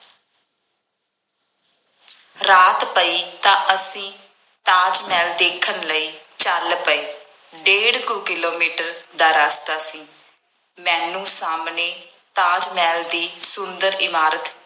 ਰਾਤ ਪਈ ਤਾਂ ਅਸੀਂ ਤਾਜ ਮਹਿਲ ਦੇਖਣ ਲਈ ਚੱਲ ਪਏ। ਡੇਢ ਕੁ ਕਿਲੋਮੀਟਰ ਦਾ ਰਸਤਾ ਸੀ। ਮੈਨੂੰ ਸਾਹਮਣੇ ਤਾਜ ਮਹਿਲ ਦੀ ਸੁੰਦਰ ਇਮਾਰਤ